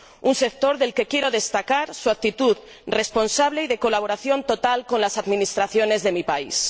un sector del que quiero destacar su actitud responsable y de colaboración total con las administraciones de mi país.